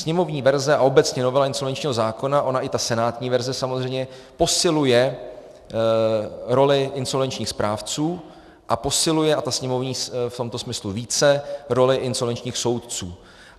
Sněmovní verze a obecně novela insolvenčního zákona, ona i ta senátní verze samozřejmě, posiluje roli insolvenčních správců a posiluje - a ta sněmovní v tomto smyslu více - roli insolvenčních soudců.